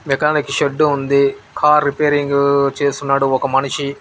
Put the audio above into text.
mechanic shed ఉంది car repairing చేస్తున్నాడు ఒక మనిషి